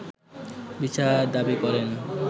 বিচার দাবি করেন